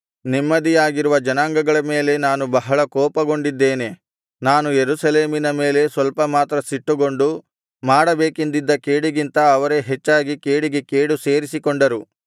ನೆಮ್ಮದಿಯಾಗಿರುವ ಜನಾಂಗಗಳ ಮೇಲೆ ನಾನು ಬಹಳ ಕೋಪಗೊಂಡಿದ್ದೇನೆ ನಾನು ಯೆರೂಸಲೇಮಿನ ಮೇಲೆ ಸ್ವಲ್ಪ ಮಾತ್ರ ಸಿಟ್ಟುಗೊಂಡು ಮಾಡಬೇಕೆಂದಿದ್ದ ಕೇಡಿಗಿಂತ ಅವರೇ ಹೆಚ್ಚಾಗಿ ಕೇಡಿಗೆ ಕೇಡು ಸೇರಿಸಿಕೊಂಡರು